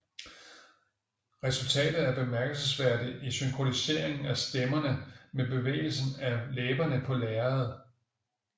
Resultatet er bemærkelsesværdigt i synkroniseringen af stemmerne med bevægelsen af læberne på lærredet